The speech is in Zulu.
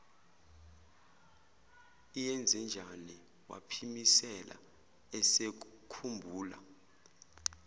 iyenzenjani waphimisela esekhumbula